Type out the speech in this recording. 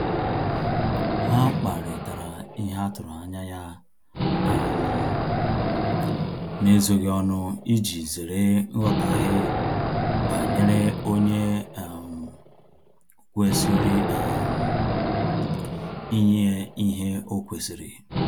Ha kparitara ihe atụrụ anya ya um n'ezoghi ọnụ iji zere nghọtaghe banyere onye um kwesịrị um inye ihe o kwesiri